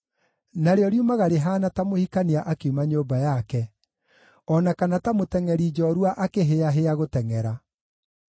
narĩo riumaga rĩhaana ta mũhikania akiuma nyũmba yake, o na kana ta mũtengʼeri njoorua akĩhĩĩahĩĩa gũtengʼera.